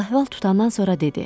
Hal-əhval tutandan sonra dedi.